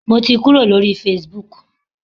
Mo ti kúrò lórí Facebook.